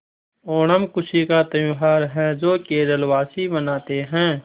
ओणम खुशी का त्यौहार है जो केरल वासी मनाते हैं